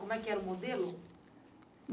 Como é que era o modelo?